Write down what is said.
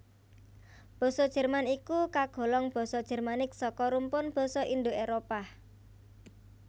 Basa Jerman iku kagolong basa Jermanik saka rumpun basa Indo Éropah